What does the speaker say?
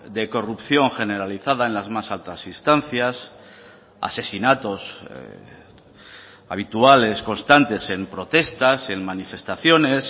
de corrupción generalizada en las más altas instancias asesinatos habituales constantes en protestas en manifestaciones